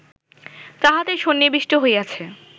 তাহাতে সন্নিবিষ্ট হইয়াছে